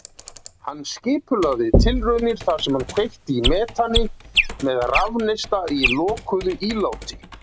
Hann skipulagði tilraunir þar sem hann kveikti í metani með rafneista í lokuðu íláti.